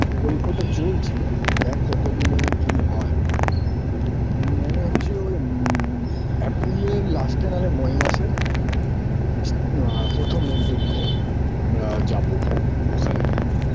গল্পটা চলছে দেক কতদিনে কি হয় মনে হচ্চে ওই উমম্ april -এর last -এ may মাসের ইস আ পোথোমের দিক দিয়ে আমরা যাবো ওখানে